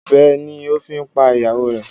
Ọ̀bẹ ni o fi pa ìyàwó rẹ̀.